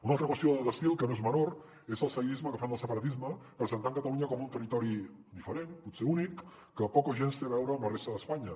una altra qüestió d’estil que no és menor és el seguidisme que fan del separatisme presentant catalunya com un territori diferent potser únic que poc o gens té a veure amb la resta d’espanya